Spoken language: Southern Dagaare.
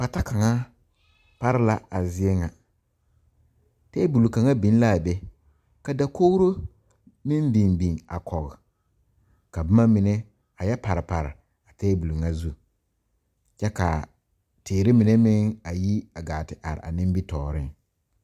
Pata kaŋa are la a zie ŋa tabol kaŋa biŋ laa be ka dakogro meŋ biŋ biŋ kɔg ka bomma mine a yɛ pare pare a tabol ŋa zu kyɛ kaa teere mine meŋ a yi a gaa te are a nimitooreŋ.